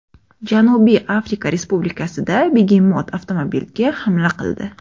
Janubiy Afrika Respublikasida begemot avtomobilga hamla qildi .